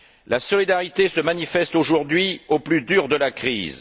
La solidarité se manifeste aujourd'hui au plus dur de la crise.